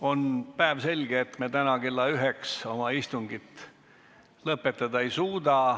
On päevselge, et me täna kella üheks oma istungit lõpetada ei suuda.